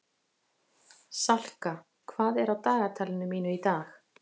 Salka, hvað er á dagatalinu mínu í dag?